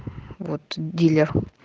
вот дилер